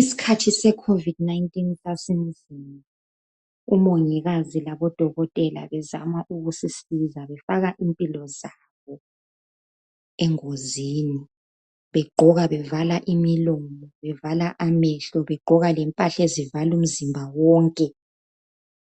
Isikhathi seCovid 19 sasinzima, umongikazi labodokotela bezama ukusisiza befaka impilo zabo engozini. Begqoka bevala imilomo bevala amehlo begqoka lempahla ezivala umzimba wonke.